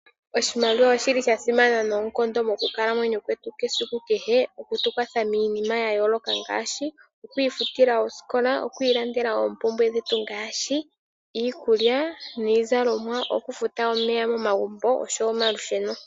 Oshimaliwa oshi li sha simana noonkondo mokukalamwenyo kwetu kwesiku kehe, okutu kwatha miinima ya yooloka ngaashi okwiifutila osikola, okwi ilandela oompumbwe dhetu ngaashi iikulya niizalomwa, okufuta omeya momagumbo oshowo omalusheno.